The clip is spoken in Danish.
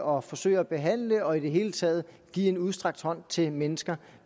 og forsøge at behandle og i det hele taget give en udstrakt hånd til mennesker